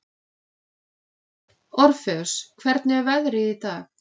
Orfeus, hvernig er veðrið í dag?